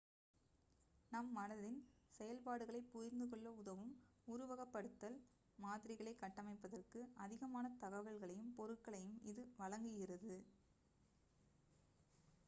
நம் மனதின் செயல்பாடுகளைப் புரிந்துகொள்ள உதவும் உருவகப்படுத்தல் மாதிரிகளைக் கட்டமைப்பதற்கு அதிகமான தகவல்களையும் பொருட்களையும் இது வழங்குகிறது